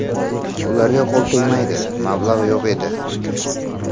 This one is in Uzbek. Ularga qo‘l tegmadi, mablag‘ yo‘q edi.